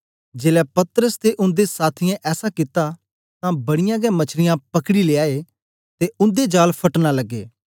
जेलै पतरस ते उन्दे साथियें ऐसा कित्ता तां बड़ीयां गै मछलिया पकड़ी लयाए ते उन्दे जाल फटन लगे